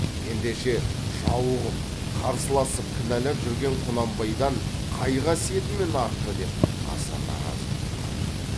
ендеше жауығып қарсыласып кінәлап жүрген құнанбайдан қай қасиетімен артты деп аса наразы боп қалды